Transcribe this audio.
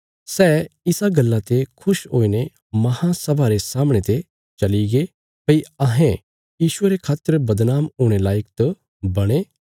सै इस गल्ला ते खुश हुईने महासभा रे सामणे ते चलीगे भई अहें यीशुये रे खातर बदनाम हुणे लायक त बणे